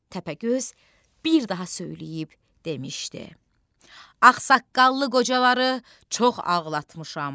Təpəgöz bir daha söyləyib demişdi: Ağsaqqallı qocaları çox ağlatmışam.